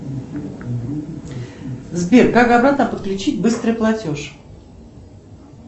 сбер как обратно подключить быстрый платеж